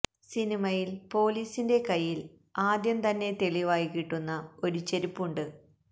സിനിമയിൽ പൊലീസിന്റെ കയ്യിൽ ആദ്യം തന്നെ തെളിവായി കിട്ടുന്ന ഒരു ചെരിപ്പുണ്ട്